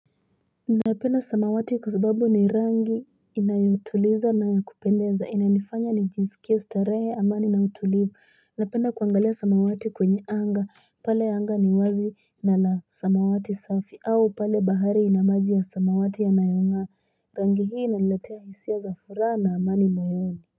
Napenda samawati kwasababu ni rangi inayotuliza na yakupendeza inanifanya nijiskie starehe amani na utulivu napenda kwangalia samawati kwenye anga pale anga ni wazi na lasamawati safi au pale bahari ina maji ya samawati yanayonga rangi hii inaniletea hisia za furaha na amani moyoni.